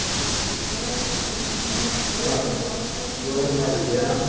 Você é o mais velho, com outro irmão, com oito irmãos, como é que, como é que você cuidava.